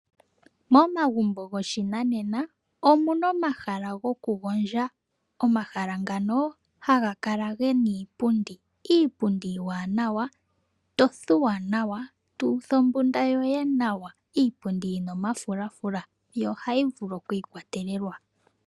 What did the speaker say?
Momagumbo goshinanena omuna omahala goku gondja omahala ngano haga kala gena iipundi yopashinanena, iipundi iiwanawa to thuwa nawa tuutha ombunda yoye yoye nawa iipundi yina omafulafula yo ohayi vulu okwiikwatelelwa.